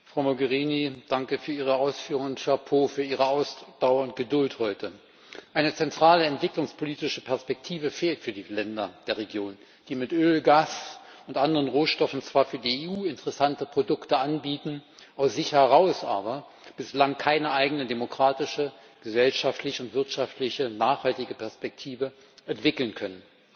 Frau Mogherini, danke für Ihre Ausführungen, Chapeau für Ihre Ausdauer und Geduld heute! Eine zentrale entwicklungspolitische Perspektive fehlt für die Länder der Region, die mit Öl, Gas und anderen Rohstoffen zwar für die EU interessante Produkte anbieten, aus sich heraus aber bislang keine eigene demokratische, gesellschaftlich und wirtschaftlich nachhaltige Perspektive entwickeln können.